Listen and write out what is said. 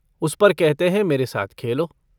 उस पर कहते हैं मेरे साथ खेलो।